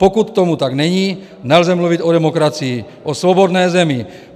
Pokud tomu tak není, nelze mluvit o demokracii, o svobodné zemi.